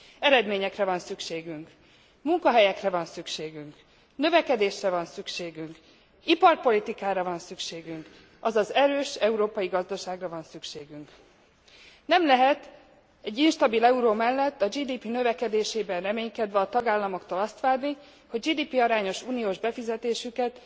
Eredményekre van szükségünk, munkahelyekre van szükségünk, növekedésre van szükségünk, iparpolitikára van szükségünk, azaz erős európai gazdaságra van szükségünk. Nem lehet egy instabil euró mellett a GDP növekedésében reménykedve a tagállamoktól azt várni, hogy GDP arányos uniós befizetésüket